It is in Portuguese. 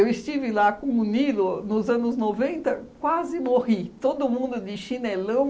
estive lá com o Nilo nos anos noventa, quase morri, todo mundo de chinelão.